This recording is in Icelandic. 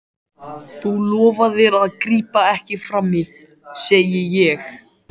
Þú lofaðir að grípa ekki frammí, segi ég.